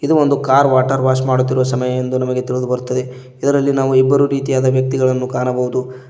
ಇದು ಒಂದು car water wash ಮಾಡುತ್ತಿರುವ ಸಮಯ ಎಂದು ನಮಗೆ ತಿಳಿದು ಬರುತ್ತದೆ ಇದರಲ್ಲಿ ನಾವು ಇಬ್ಬರೂ ರೀತಿಯಾದ ವ್ಯಕ್ತಿಗಳನ್ನು ಕಾಣಬಹುದು.